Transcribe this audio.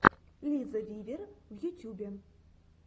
лиза вивер в ютюбе